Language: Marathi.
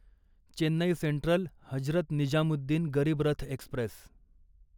Chennai central Hazrat Nizamuddin Garib Rath Express